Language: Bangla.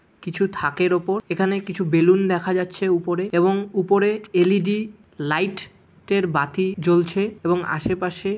কিছু থাকের ওপর এখানে কিছু বেলুন দেখা যাচ্ছে উপরে এবং উপরে এল.ই.ডি. লাইট - এর বাতি জ্বলছে এবং আশেপাশে--